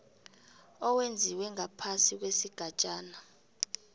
owenziwe ngaphasi kwesigatjana